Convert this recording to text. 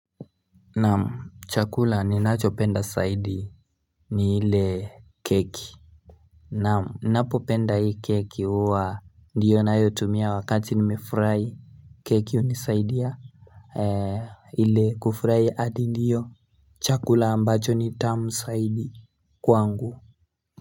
Naam chakula ninachopenda zaidi ni ile keki ninapopenda hii keki huwa ndiyo ninayotumia wakati nimefurahi Keki hunisaidia ili kufurahia hadi ndiyo chakula ambacho ni tamu zaidi kwangu.